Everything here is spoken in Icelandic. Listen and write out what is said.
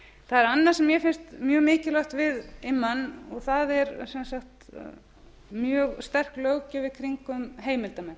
það er annað sem mér finnst mjög mikilvægt við immann og það er sem sagt mjög sterk löggjöf í kringum heimildarmenn